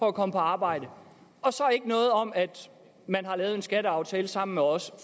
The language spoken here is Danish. at komme på arbejde og så ikke noget om at man har lavet en skatteaftale sammen med os